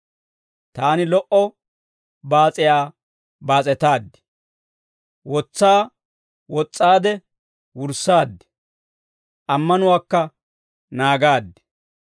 Taani lo"o baas'iyaa baas'etaaddi; wotsaa wos's'aadde wurssaad; ammanuwaakka naagaad.